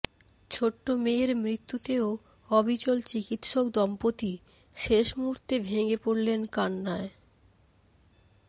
ছোট্ট মেয়ের মৃত্যুতেও অবিচল চিকিত্সক দম্পতি শেষ মুহূর্তে ভেঙে পড়লেন কান্নায়